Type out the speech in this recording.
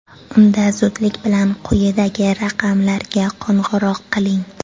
Unda zudlik bilan quyidagi raqamlarga qo‘ng‘iroq qiling.